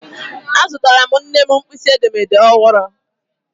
Azụtarala m nne m mkpịsị edemede ọhụrụ..